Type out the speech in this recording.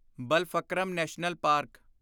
Balphakram national park